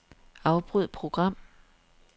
Afbryd program.